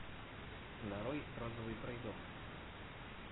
нарой розовый пройдоха